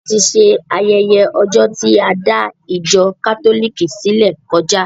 A ti ṣe ayẹyẹ ọjọ tí a dá ìjọ kátólìkì sílẹ kọjá.